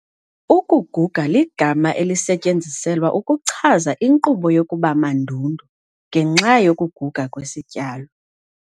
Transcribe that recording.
Ukuguga ligama elisetyenziselwa ukuchaza inkqubo yokuba mandundu ngenxa yokuguga kwesityalo.